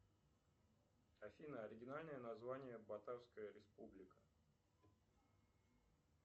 афина оригинальное название батарская республика